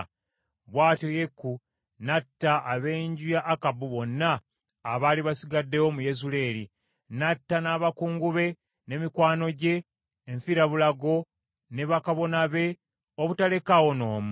Bw’atyo Yeeku n’atta ab’enju ya Akabu bonna abaali basigaddewo mu Yezuleeri; n’atta n’abakungu be, ne mikwano gye enfirabulago, ne bakabona be, obutalekaawo n’omu.